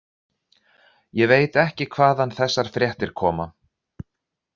Ég veit ekki hvaðan þessar fréttir koma.